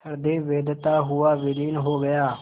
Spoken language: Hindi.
हृदय वेधता हुआ विलीन हो गया